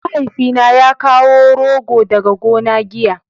mahaifi na ya kawo rogo daga gona giya